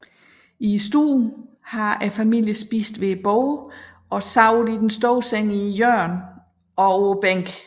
I stuen har familien spist ved bordet og sovet i den store seng i hjørnet og på bænken